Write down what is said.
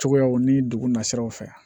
Cogoyaw ni dugunnasiraw fɛ